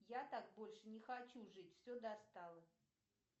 я так больше не хочу жить все достало